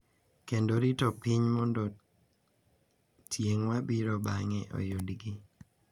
Kendo rito piny mondo tieng' mabiro bang’e oyudgi.